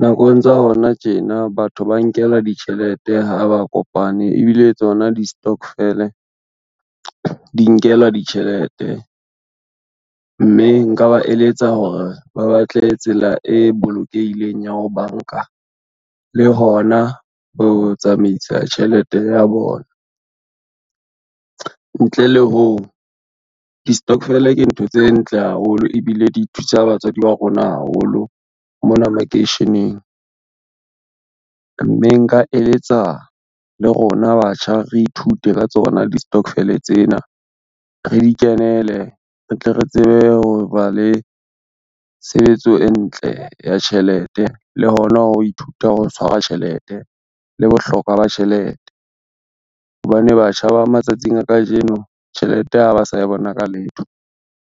Nakong tsa hona tjena batho ba nkelwa ditjhelete ha ba kopane ebile tsona distokfele di nkelwa ditjhelete, mme nka ba eletsa hore ba batle tsela e bolokehileng ya ho banka le hona ho tsamaisa tjhelete ya bona. Ntle le hoo, distokfele ke ntho tse ntle haholo ebile di thusa batswadi ba rona haholo mona makeisheneng, mme nka eletsa le rona batjha re ithute ka tsona distokfele tsena, re di kenele re tle re tsebe ho ba le tshebetso e ntle ya tjhelete, le hona ho ithuta ho tshwarwa tjhelete le bohlokwa ba tjhelete. Hobane batjha ba matsatsing a kajeno tjhelete ha ba sa e bona ka letho.